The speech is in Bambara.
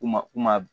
U ma u ma